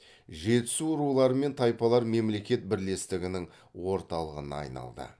жетісу рулар мен тайпалар мемлекет бірлестігінің орталыпына айналды